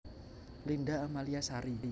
Linda Amalia Sari